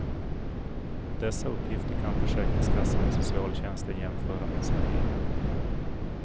Dessa uppgifter kan försäkringskassan och socialtjänsten jämföra med sina egna.